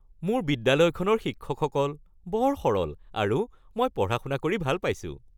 মোৰ বিদ্যালয়খনৰ শিক্ষকসকল বৰ সৰল আৰু মই পঢ়া-শুনা কৰি ভাল পাইছোঁ।